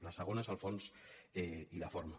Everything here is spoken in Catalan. la segona és el fons i la forma